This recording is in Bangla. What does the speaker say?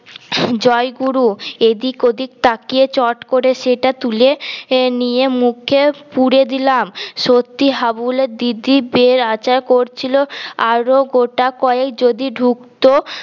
জয়গুরু এদিক ওদিক তাকিয়ে চট করে সেটা তুলে নিয়ে মুখে পুরে দিলাম সত্যি হাবুল এর দিদি বেশ আঁচার করছিল আরও গোটা কয়েক যদি ঢুকত